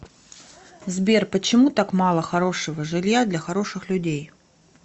сбер почему так мало хорошего жилья для хороших людей